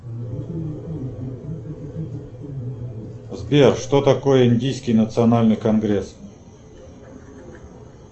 сбер что такое индийский национальный конгресс